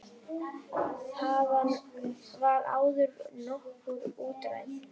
Þaðan var áður nokkurt útræði.